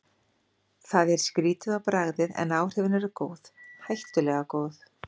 Það er skrýtið á bragðið, en áhrifin eru góð, hættulega góð.